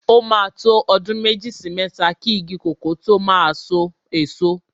O máa ń tó ọdún méjì sí mẹ́ta ki igi kòkó tó máa so èso.